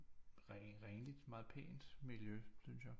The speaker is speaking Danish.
Renligt meget pænt miljø synes jeg